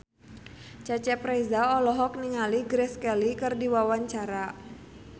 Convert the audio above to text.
Cecep Reza olohok ningali Grace Kelly keur diwawancara